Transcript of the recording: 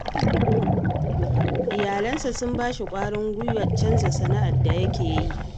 Iyalansa sun ba shi ƙwarin gwiwar canza sana'ar da yake yi